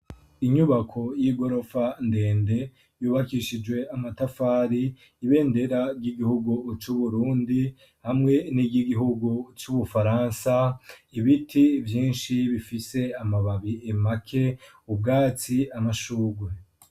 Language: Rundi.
Inyubako y'igorofa ndende yubakishijwe amatafari ibendera ry'igihugu cu Burundi hamwe niryi Gihugu cu Bufaransa ibiti vyishi bifise amababi make ubwatsi amashurwe